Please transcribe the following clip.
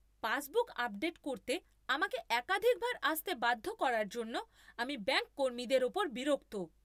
Passbook update করতে আমাকে একাধিকবার আসতে বাধ্য করার জন্য আমি ব্যাঙ্ক কর্মীদের উপর বিরক্ত।